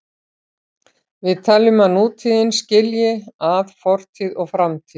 Við teljum að nútíðin skilji að fortíð og framtíð.